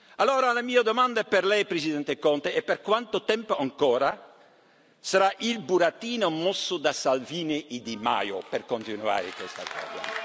Allora la mia domanda per Lei, Presidente Conte, è per quanto tempo ancora sarà il burattino mosso da Salvini e Di Maio per continuare questa